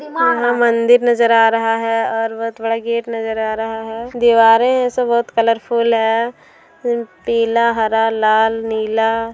यहां मंदिर नजर आ रहा है और बहुत बड़ा गेट नजर आ रहा है दिवारे ऐसे बहुत कलरफूल है पीला हरा लाल नीला--